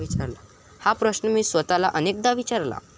हा प्रश्न मी स्वतःला अनेकदा विचारला.